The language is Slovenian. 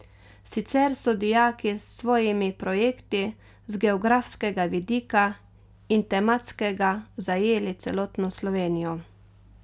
Sicer so dijaki s svojimi projekti z geografskega vidika in tematskega zajeli celotno Slovenijo.